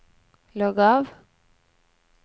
logg av